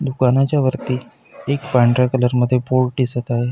दुकानाच्या वरती एक पांढऱ्या कलरमध्ये बोर्ड दिसत आहे.